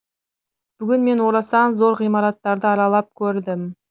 бүгін мен орасан зор ғимараттарды аралап көрдім